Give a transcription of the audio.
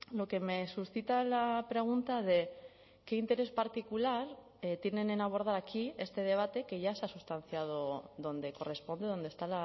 lo que me suscita la pregunta de qué interés particular tienen en abordar aquí este debate que ya se ha sustanciado donde corresponde donde está